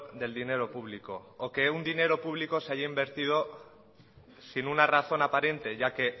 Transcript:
del dinero público o que un dinero público se haya invertido sin una razón aparente ya que